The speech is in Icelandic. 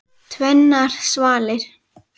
Tvennar svalir.